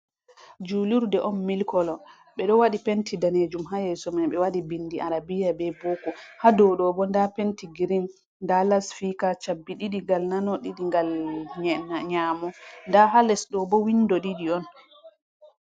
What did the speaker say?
Julurde on milkolo ɓedo wadi penti danejum hayeso mai be wadi bindi arabiya be boko, hado dobo da penti girin da lasfika shabbi didi ngal nano didi ngal nyamo da ha lesdobo windo ɗidi on.